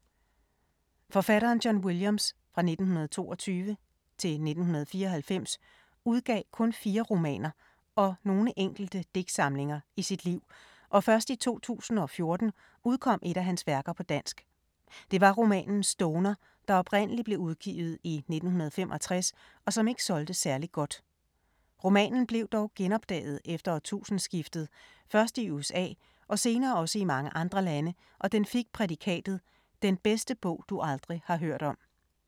Forfatteren John Williams (1922-1994) udgav kun fire romaner og nogle enkelte digtsamlinger i sit liv og først i 2014 udkom et af hans værker på dansk. Det var romanen Stoner, der oprindelig blev udgivet i 1965 og som ikke solgte særligt godt. Romanen blev dog genopdaget efter årtusindeskiftet, først i USA og senere også i mange andre lande og den fik prædikatet: Den bedste bog du aldrig har hørt om.